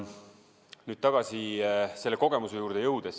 Nüüd tagasi selle kogemuse juurde.